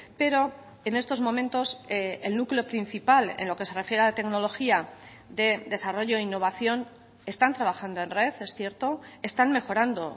pero en estos momentos el núcleo principal en lo que se refiere a tecnología de desarrollo e innovación están trabajando en red es cierto están mejorando